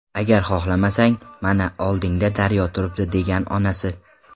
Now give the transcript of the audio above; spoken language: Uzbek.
Agar xohlamasang, mana, oldingda daryo turibdi”, degan onasi.